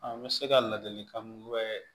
An bɛ se ka ladilikan mun gɛn